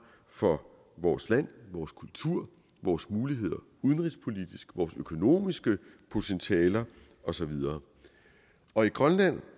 for vores land vores kultur og vores muligheder udenrigspolitisk vores økonomiske potentialer og så videre og i grønland